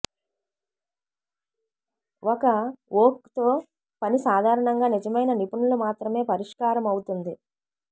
ఒక ఓక్ తో పని సాధారణంగా నిజమైన నిపుణులు మాత్రమే పరిష్కారమవుతుంది